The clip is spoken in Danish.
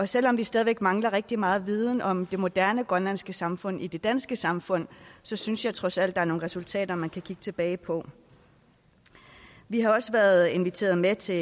selv om vi stadig væk mangler rigtig meget viden om det moderne grønlandske samfund i det danske samfund så synes jeg trods alt der er nogle resultater man kan kigge tilbage på vi har også været inviteret med til